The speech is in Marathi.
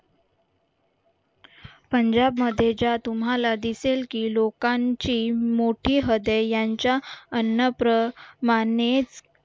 पंजाब मध्ये ज्या तुम्हाला दिसेल की लोकांची मोठी हदय यांच्या अन्नप्रमानेच